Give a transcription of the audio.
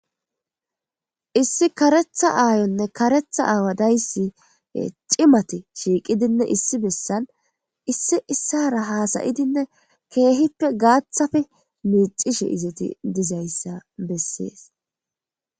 Issi karetha aayonne karetha aawa dayssi cimati shiiqidinne issi bessan issi issara haasayidinne keehippe gaathafi miixishe izati dizayssa bessees.